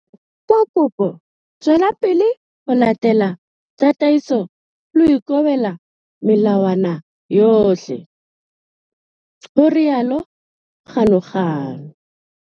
Ka kopo tswela pele ho latela tataiso le ho ikobela melawana yohle, ho rialo Ganuganu.